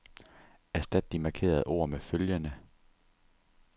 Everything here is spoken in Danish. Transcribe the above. Erstat de markerede ord med følgende.